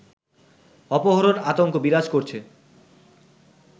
অপহরণ আতঙ্ক বিরাজ করছে